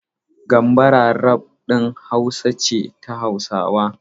Gambara rap ɗin Hausa ce ta Hausawa.